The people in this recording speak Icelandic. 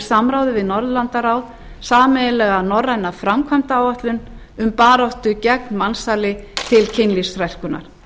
samráði við norðurlandaráð sameiginlega norræna framkvæmdaáætlun um baráttu gegn mansali til kynlífsþrælkunar